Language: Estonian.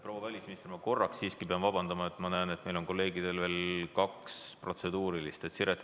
Proua välisminister, ma pean siiski korraks veel vabandust paluma, sest ma näen, et meie kolleegidel on veel kaks protseduurilist küsimust.